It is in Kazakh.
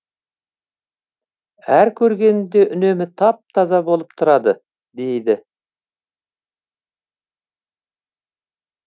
әр көргенімде үнемі тап таза болып тұрады дейді